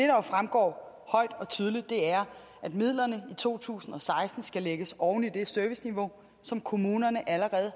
jo fremgår højt og tydeligt er at midlerne for to tusind og seksten skal lægges oven i det serviceniveau som kommunerne allerede